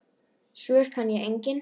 Svör kann ég engin.